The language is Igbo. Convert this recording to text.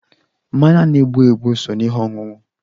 Mmanya na-egbu egbu so n'ihe ọṅụṅụ